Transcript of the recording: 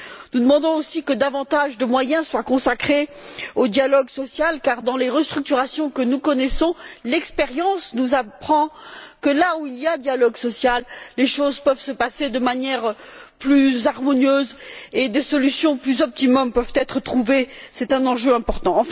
Nous demandons aussi que davantage de moyens soient consacrés au dialogue social car dans les restructurations que nous connaissons, l'expérience nous apprend que là où il y a dialogue social, les choses peuvent se passer de manière plus harmonieuse et des solutions plus optimales peuvent être trouvées. C'est un enjeu important.